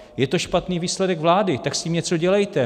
Je to špatný výsledek vlády, tak s tím něco dělejte.